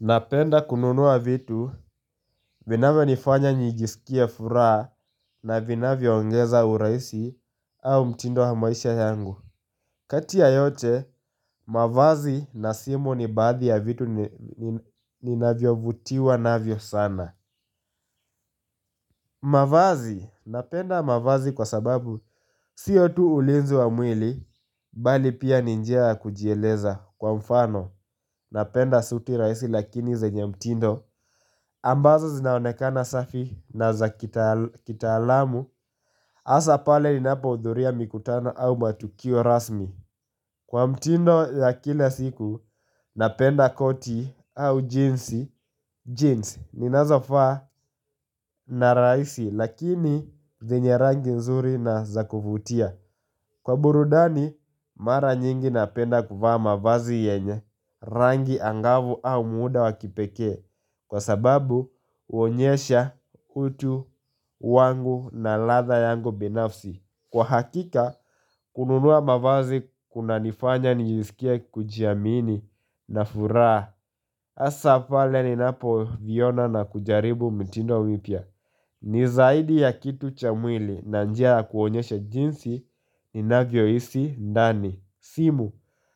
Napenda kununua vitu, vinavyo nifanya nijisikie furaha na vinavyo ongeza urahisi au mtindo wa maisha yangu. Kati ya yote, mavazi na simu ni baadhi ya vitu ninavyovutiwa navyo sana. Mavazi, napenda mavazi kwa sababu sio tu ulinzi wa mwili, bali pia ni njia ya kujieleza kwa mfano, napenda suti rahisi lakini zenye mtindo. Ambazo zinaonekana safi na za kitaalamu Asa pale inapo hudhuria mikutano au matukio rasmi Kwa mtindo ya kila siku napenda koti au jeans jeans ninazofaa na rahisi lakini zinye rangi nzuri na za kuvutia Kwa burudani mara nyingi napenda kuvaa mavazi yenye Rangi angavu au muda wakipekee Kwa sababu huonyesha utu wangu na ladha yangu binafsi Kwa hakika kununuwa mavazi kuna nifanya nijisikie kujiamini na furaha Asa pale ninapo jiona na kujaribu mtindo mpya ni zaidi ya kitu cha mwili na njia ya kuonyesha jinsi ni navyo hisi ndani simu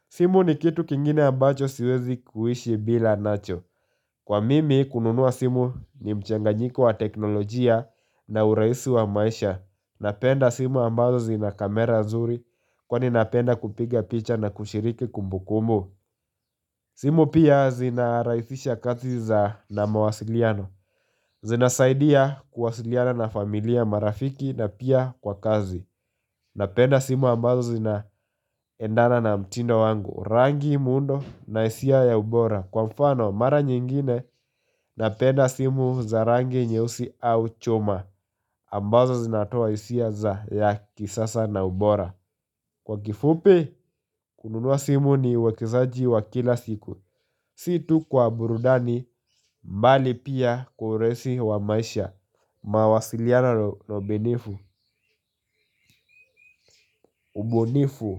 simu ni kitu kingine ambacho siwezi kuishi bila nacho Kwa mimi kununua simu ni mchanganyiko wa teknolojia na urahisi wa maisha Napenda simu ambazo zina kamera nzuri kwani napenda kupiga picha na kushiriki kumbu kumbu simu pia zinarahisisha kazi za na mawasiliano Zinasaidia kuwasiliana na familia marafiki na pia kwa kazi Napenda simu ambazo zina endana na mtindo wangu Rangi muundo na hisia ya ubora Kwa mfano, mara nyingine napenda simu za rangi nyeusi au choma ambazo zinatoa hisia za ya kisasa na ubora Kwa kifupi, kununua simu ni uwekezaji wa kila siku Si tu kwa burudani, bali pia kuresi wa maisha mawasiliano na ubinifu, ubunifu.